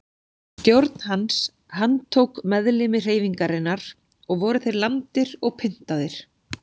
Stjórn hans handtók meðlimi hreyfingarinnar og voru þeir lamdir og pyntaðir.